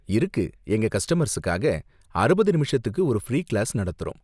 இருக்கு, எங்க கஸ்டமர்ஸுக்காக அறுபது நிமிஷத்துக்கு ஒரு ஃப்ரீ கிளாஸ் நடத்துறோம்.